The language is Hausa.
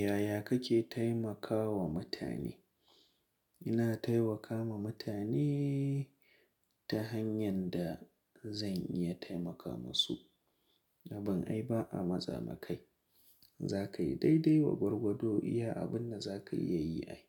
Yaya kake taimakawa mutane? Ina taimakawa mutane ta hanyar da zan iya taimaka musu. Abin ai ba a matsa ma kai. Za ka yi daidai wa gwargwado iya abun da za ka iya yi ai.